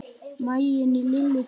Maginn í Lillu tók kipp.